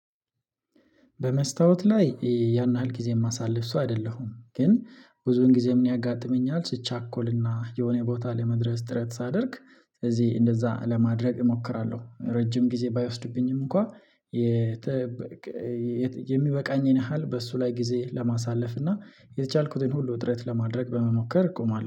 በመስታወት ላይ ያን ያህል ጊዜ የማሳልፍ ሰው አይደለሁም ግን ብዙን ጊዜ ምን ያጋጥመኛል ይቻኮልና የሆነ ቦታ ለመድረስ ጥረት ሳደርግ ስለዚህ እንደዛ ለማድረግ እሞክራለሁ። ረጅም ጊዜ ባይወስድብኝም እንኳን የሚበቃኝን ያህል በሱ ላይ ጊዜ ለማሳለፍ እና የተቻልኩትን ሁሉ ውጥረት ለማድረግ በመሞከር እቆማለሁ